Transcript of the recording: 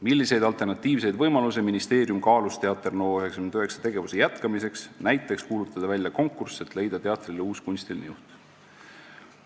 "Milliseid alternatiivseid võimalusi ministeerium kaalus Teater NO99 tegevuse jätkamiseks – näiteks kuulutada välja konkurss, et leida teatrile uus kunstiline juht?